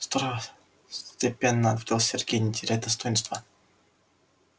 здорово степенно ответил сергей не теряя достоинства